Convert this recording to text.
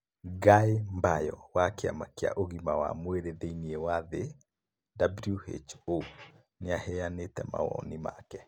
Guy Mbayo wa Kĩama kĩa Ũgima wa Mwĩrĩ Thĩinĩ wa Thĩ (WHO) nĩ aheanĩte mawoni make.